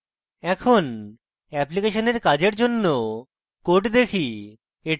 এখন অ্যাপ্লিকেশনের কাজের জন্য code দেখি